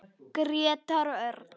Grétar Örn.